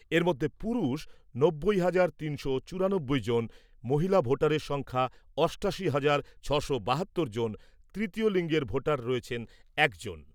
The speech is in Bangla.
এর মধ্যে পুরুষ নব্বই হাজার তিনশো চুরানব্বই জন, মহিলা ভোটারের সংখ্যা অষ্টাশি হাজার ছশো বাহাত্তর জন, তৃতীয় লিঙ্গের ভোটার রয়েছেন একজন।